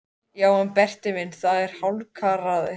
Já en Berti minn, það er allt hálfkarað niðri.